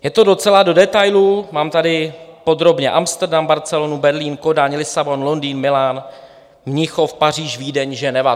Je to docela do detailů, mám tady podrobně Amsterodam, Barcelonu, Berlín, Kodaň, Lisabon, Londýn, Milán, Mnichov, Paříž, Vídeň, Ženevu.